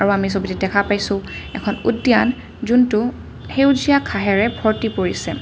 আমি ছবিটোত দেখা পাইছোঁ এখন উদ্যান যোনটো সেউজীয়া ঘাঁহেৰে ভৰ্ত্তি পৰিছে।